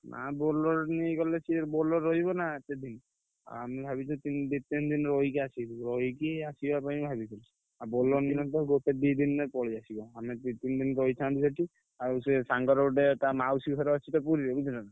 ନା Bolero ନେଇ ଗଲେ ସିଏ Bolero ରହିବନା ସେଠି। ଆମେ ଭାବିଛୁ ତି ଦି ତିନି ଦିନି ରହିକି ଆସିବୁ। ରହିକି ଆସିବା ପାଇଁ ଭାବିଛୁ। ଆଉ Bolero ନେଲେତ ଗୋଟେ ଦି ଦିନ୍ ରେ ପଳେଇଆସିବା। ଆମେ ଦି ତିନି ଦିନ୍ ରହିଥାନ୍ତୁ ସେଠି। ଆଉ ସେ ସାଙ୍ଗର ଗୋଟେ ତା ମାଉସୀ ଘର ଅଛିତ ପୁରୀରେ ବୁଝିଲନା।